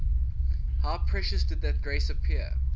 how precious did that grace appear